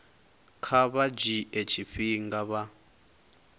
kha vha dzhie tshifhinga vha